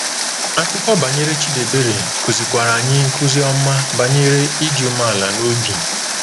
Akụkọ banyere Chidiebere kụzikwara anyị nkuzi ọma banyere ịdị umeala n’obi.